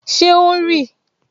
Ṣé o ń rì?